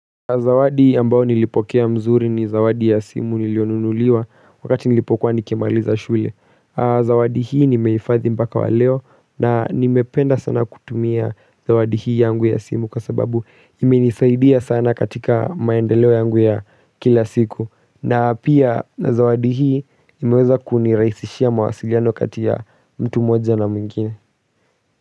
Zawadi ambao nilipokea mzuri ni zawadi ya simu nilionunuliwa wakati nilipokuwa nikimaliza shule. Zawadi hii nimeifadhi mpaka wa leo na nimependa sana kutumia zawadi hii yangu ya simu kwa sababu imenisaidia sana katika maendeleo yangu ya kila siku. Na pia zawadi hii imeweza kuniraisishia mawasiliano katia mtu moja na mwingine.